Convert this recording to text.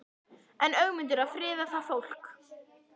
Er Ögmundur að friða það fólk?